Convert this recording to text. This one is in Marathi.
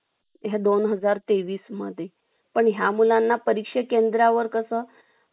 या सोनहजार तेवीस पण या मुलांना परीक्षा केंद्रावर कस